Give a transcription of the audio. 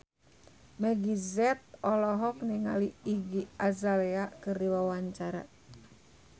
Meggie Z olohok ningali Iggy Azalea keur diwawancara